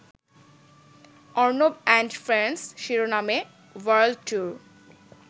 Arnab and friends’ শিরোনামে world tour